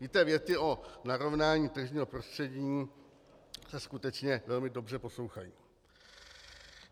Víte, věty o narovnání tržního prostředí se skutečně velmi dobře poslouchají.